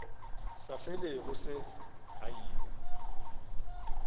sa felego se a ila